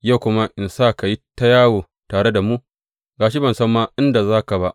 Yau kuma in sa ka yi ta yawo tare da mu, ga shi ban ma san inda za ni ba?